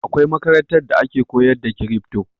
Akwai makarantar da ake koyar da crypto